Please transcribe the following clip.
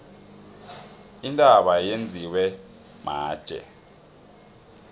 intaba yenziwe matje